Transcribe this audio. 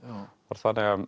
var þannig að